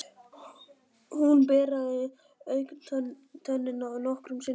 Hún beraði augntönnina nokkrum sinnum.